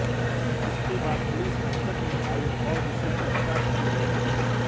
इसके बाद पुलिस हरकत में आई और उसे गिरफ्तार कर लिया